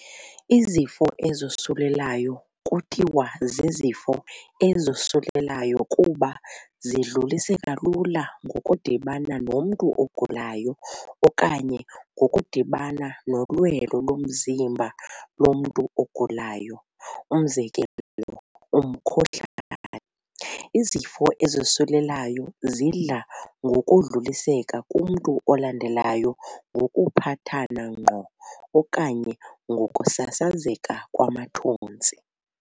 Izifo ezosulelayo kuthiwa zizifo ezosulelayo kuba zidluliseka lula ngokudibana nomntu ogulayo okanye ngokudibana nolwelo lomzimba lomntu ogulayo, umzekelo umkhuhlane. Izifo ezosulelayo zidla ngokudluliseka kumntu olandelayo ngokuphathana ngqo okanye ngokusasazeka kwamathontsi.